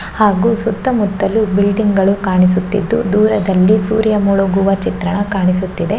ಹಾಗು ಸುತ್ತಮುತ್ತಲು ಬಿಲ್ಡಿಂಗ್ ಗಳು ಕಾಣಿಸುತ್ತಿದ್ದು ದೂರದಲ್ಲಿ ಸೂರ್ಯ ಮುಳುಗುವ ಚಿತ್ರಣ ಕಾಣಿಸುತ್ತಿದೆ.